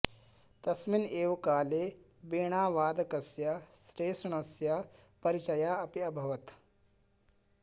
तस्मिन् एव काले वीणावादकस्य शेषण्णस्य परिचयः अपि अभवत्